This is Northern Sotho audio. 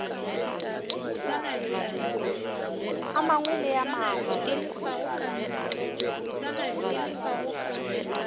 a mangwe le a mangwe